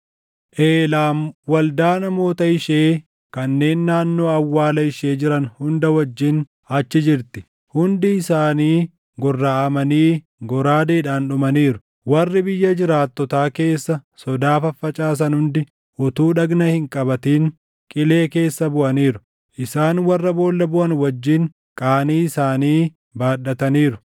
“Eelaam waldaa namoota ishee kanneen naannoo awwaalaa ishee jiran hunda wajjin achi jirti. Hundi isaanii gorraʼamanii goraadeedhaan dhumaniiru. Warri biyya jiraattotaa keessa sodaa faffacaasan hundi utuu dhagna hin qabatin qilee keessa buʼaniiru. Isaan warra boolla buʼan wajjin qaanii isaanii baadhataniiru.